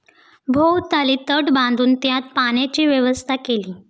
भोवताली तट बांधून त्यात पाण्याची व्यवस्था केली.